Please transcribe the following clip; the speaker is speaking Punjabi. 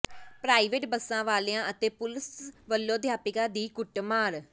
ਪ੍ਰਾਈਵੇਟ ਬੱਸਾਂ ਵਾਲਿਆਂ ਅਤੇ ਪੁਲੀਸ ਵੱਲੋਂ ਅਧਿਆਪਕਾਂ ਦੀ ਕੁੱਟਮਾਰ